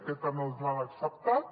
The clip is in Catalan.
aquesta no ens l’han acceptat